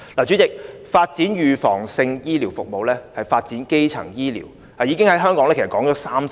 主席，發展預防性醫療服務、發展基層醫療，在香港已經提出30年。